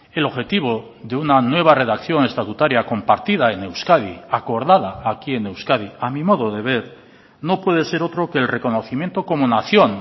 el objetivo de una nueva redacción estatutaria compartida en euskadi acordada aquí en euskadi a mi modo de ver no puede ser otro que el reconocimiento como nación